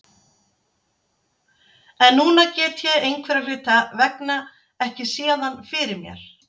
En núna get ég einhverra hluta vegna ekki séð hann fyrir mér.